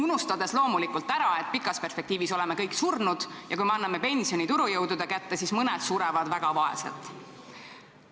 Aga loomulikult unustatakse ära, et pikas perspektiivis oleme kõik surnud ja kui me anname pensioni turujõudude kätte, siis mõned surevad väga vaesena.